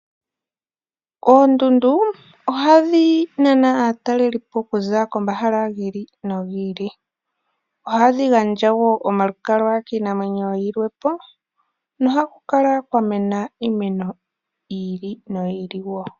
Oondundu ohadhi nana aatalelipo okuza komahala gi ili nogi ili. Ohadhi gandja wo omalukalwa kiinamwenyo yilwe po nohaku kala kwa mena iimeno yi ili noyi ili woo.